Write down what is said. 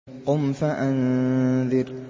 قُمْ فَأَنذِرْ